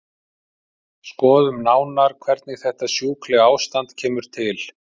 Skoðum nánar hvernig þetta sjúklega ástand kemur til.